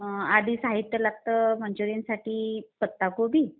आधी साहित्य लागतं मंचुरीयनसाठी पत्ता कोबी.